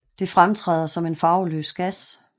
Det fremtræder som en farveløs gas